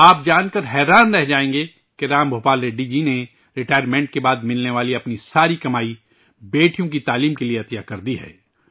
آپ جانکر حیران رہ جائیں گے رام بھوپال ریڈی جی نے ریٹائرمنٹ کے بعد ملنے والی اپنی ساری کمائی بیٹیوں کی تعلیم کے لئے عطیہ کردی ہے